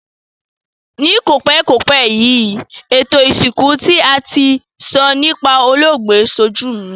Ni kòpékòpé yi, ètò ìsìnkú ti a ti n so nipa olóògbé sojú mi